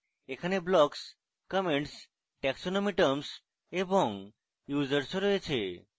এখানে blocks comments taxonomy terms এবং users ও রয়েছে